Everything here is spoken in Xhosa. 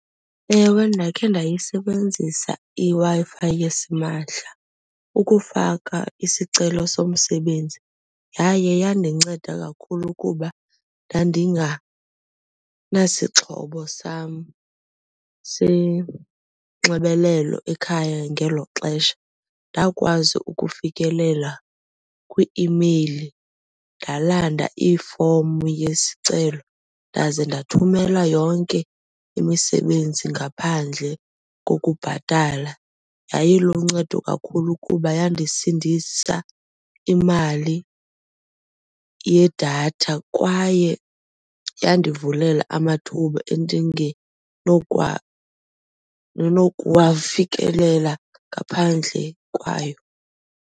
Ewe, ndakhe ndayisebenzisa iWi-Fi yesimahla ukufaka isicelo somsebenzi yaye yandinceda kakhulu kuba ndandinganasixhobo sam senxibelelo ekhaya ngelo xesha. Ndakwazi ukufikelela kwi-imeyili ndalanda ifomu yesicelo ndaze ndathumela yonke imisebenzi ngaphandle kokubhatala. Yayiluncedo kakhulu kuba yandisindisa imali yedatha kwaye yandivulela amathuba endingenokuwa nokuwafikelela ngaphandle kwayo.